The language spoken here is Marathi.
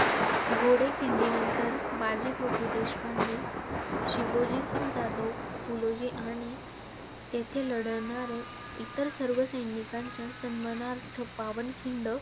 घोडखिंडीनंतर बाजीप्रभू देशपांडे, शिवोजीसिंग जाधव, फुलोजी आणि तेथे लढणाऱ्या इतर सर्व सैनिकांच्या सन्मानार्थ पावनखिंड.